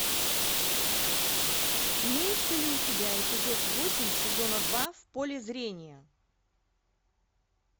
имеется ли у тебя эпизод восемь сезона два в поле зрения